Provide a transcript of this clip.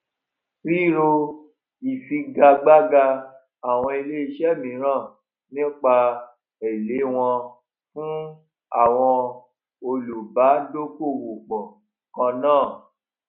ríro ìfigagbága àwọn ilé iṣé míràn nípa èlé wọn fún àwọn olùbádókòòwòpò kan náà